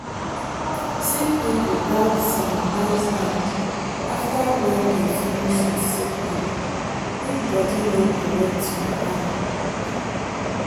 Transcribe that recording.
sick people gats sanitize hand after when they finish with sick people make body no collect wahala.